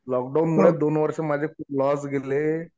Lock down मुळे दोन वर्ष माझे खूप लॉस गेलेले.